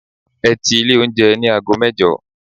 Ẹ ti ilé oúnjẹ ní aago mẹ́jọ!